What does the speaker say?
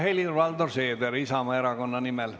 Ja Helir-Valdor Seeder Isamaa Erakonna nimel.